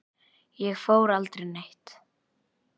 Ég fór aldrei neitt.